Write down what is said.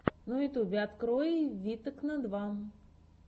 на ютьюбе открой витекно два